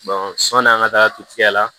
sɔn'an ka taa kiigɛ la